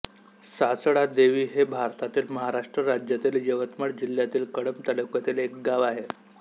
सासळादेवी हे भारतातील महाराष्ट्र राज्यातील यवतमाळ जिल्ह्यातील कळंब तालुक्यातील एक गाव आहे